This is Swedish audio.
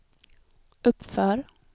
uppför